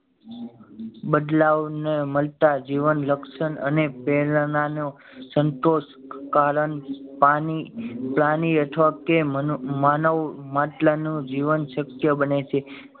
બદલાવ ને મળતા જીવન લક્ષણ અને પેલા ના નો સંતોષ કારણ પાણી પ્રાણી અથવા તો માનવ મંત્ર નો જીવન શક્ય બને છે